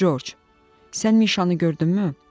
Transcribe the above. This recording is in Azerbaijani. Corc, sən Mişanı gördünmü?